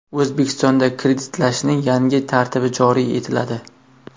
O‘zbekistonda kreditlashning yangi tartibi joriy etiladi.